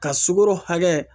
Ka sukoro hakɛ